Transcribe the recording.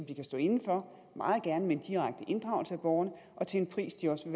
de kan stå inde for meget gerne med en direkte inddragelse af borgerne og til en pris de også